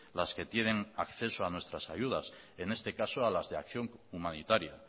las que tienen acceso a nuestras ayudas en este caso a las de acción humanitaria